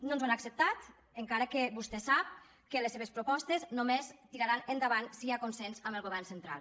no ens ho han acceptat encara que vostè sap que les seves propostes només tiraran endavant si hi ha consens amb el govern central